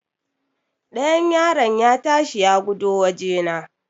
Ɗayan yaron ya ta shi ya gudo wajena.